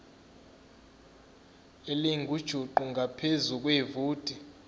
elingujuqu ngaphezu kwevoti